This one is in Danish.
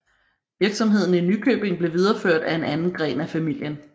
Virksomheden i Nykøbing blev videreført af en anden gren af familien